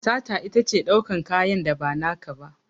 Sata itace daukan kanyan da ba naka ba